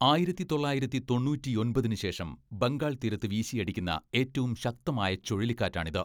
ആയിരത്തിത്തൊള്ളായിരത്തി തൊണ്ണൂറ്റിയൊമ്പതിന് ശേഷം ബംഗാൾ തീരത്ത് വീശിയടിക്കുന്ന ഏറ്റവും ശക്തമായ ചുഴലിക്കാറ്റാണിത്.